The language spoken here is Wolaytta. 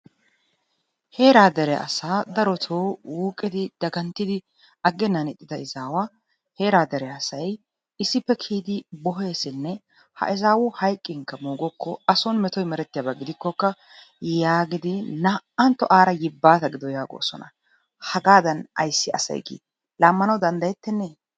Heeraa dere asaa darotoo wuuqidi daganttidi aaggennan ixxida izaawa heera dere asay issippe kiyidi boheesinne ha izaawu hayiqqinkka moogokko ason metoy merettiya a gidikkokka yaagidi naa"antto aara yibbaata gido yaagoosona. Hagaadan ayissi asay gii? Laammana danddayettennee?